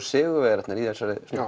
sigurvegararnir í þessum